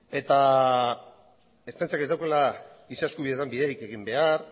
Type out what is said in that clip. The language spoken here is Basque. eta ertzaintzak ez daukala giza eskubideetan biderik egin behar